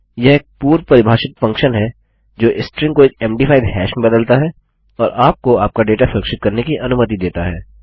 यह एक पूर्व परिभाषित फंक्शन है जो स्ट्रिंग को एक मद5 हैश में बदलता है और आपको आपका डेटा सुरक्षित करने की अनुमति देता है